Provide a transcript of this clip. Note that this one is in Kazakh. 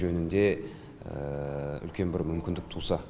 жөнінде үлкен бір мүмкіндік туса